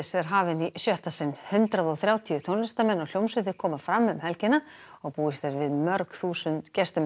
er hafin í sjötta sinn hundrað og þrjátíu tónlistarmenn og hljómsveitir koma fram um helgina og búist er við mörg þúsund gestum